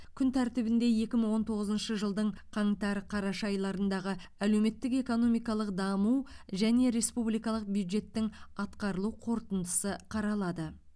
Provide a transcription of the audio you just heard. күн тәртібінде екі мың он тоғызыншы жылдың қаңтар қараша айларындағы әлеуметтік экономикалық даму және республикалық бюджеттің атқарылу қорытындысы қаралады